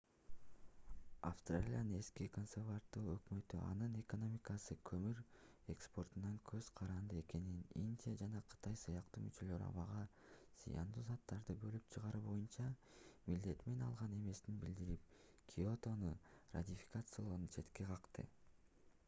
австралиянын эски консервативдүү өкмөтү анын экономикасы көмүр экспортунан көз каранды экенин индия жана кытай сыяктуу мүчөлөр абага зыяндуу заттарды бөлүп чыгаруу боюнча милдеттенме алган эместигин билдирип киотону ратификациялоону четке какты